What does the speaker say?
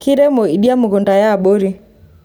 kiremo idia mukunta e abori